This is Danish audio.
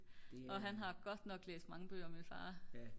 og han har godt nok læst mange bøger min far